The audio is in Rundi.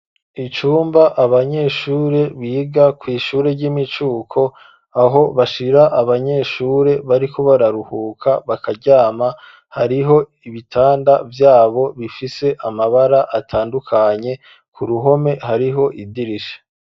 Icumba abanyeshure biga kw’ishure ry'imicuko aho bashira abanyeshure bariko bararuhuka bakaryama hariho ibitanda vyabo bifise amabara atandukanye ku ruhome hariho idirisha.